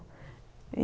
E